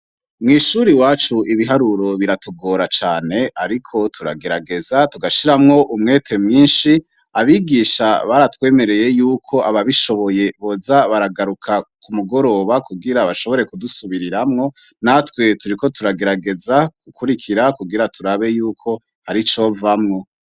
Mw'ishuri wacu ibiharuro biratugora cane, ariko turagerageza tugashiramwo umwete mwinshi abigisha baratwemereye yuko ababishoboye boza baragaruka ku mugoroba kugira bashobore kudusubiriramwo natwe turiko turagerageza kukurikira kugira turabe yuko hari cova wa.